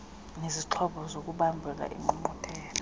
nezixhobo zokubambela iingqungquthela